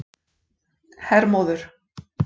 Hermóður